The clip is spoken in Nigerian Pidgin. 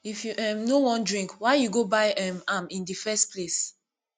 if you um no wan drink why you go buy um am in the first place